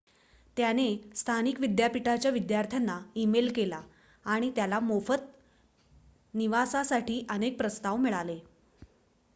त्याने स्थानिक विद्यापीठाच्या विद्यार्थ्यांना ईमेल केला आणि त्याला मोफत निवासासाठी अनेक प्रस्ताव मिळाले